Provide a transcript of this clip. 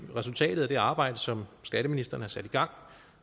resultatet af det arbejde som skatteministeren har sat i gang